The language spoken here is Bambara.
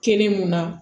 Kɛnɛ mun na